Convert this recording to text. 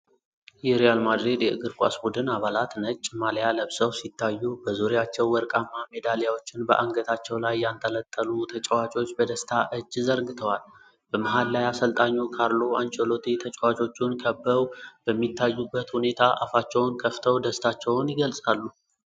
የሪያል ማድሪድ የእግር ኳስ ቡድን አባላት ነጭ ማልያ ለብሰው ሲታዩ፤ በዙሪያቸው ወርቃማ ሜዳሊያዎችን በአንገታቸው ላይ ያንጠለጠሉ ተጫዋቾች በደስታ እጅ ዘርግተዋል። በመሀል ላይ አሰልጣኙ ካርሎ አንቸሎቲ ተጫዋቾቹን ከበው በሚታዩበት ሁኔታ አፋቸውን ከፍተው ደስታቸውን ይገልጻሉ።